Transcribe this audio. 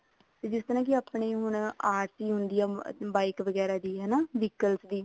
ਜਿਸ ਤਰ੍ਹਾਂ ਕੇ ਆਪਣੇ ਹੁਣ RC ਹੁੰਦੀ ਆ bike ਵਗੈਰਾ ਦੀ ਹਨਾ vehicles ਦੀ